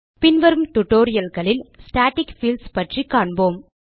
பின்வரும் டியூட்டோரியல் களில் static fields பற்றி கற்போம்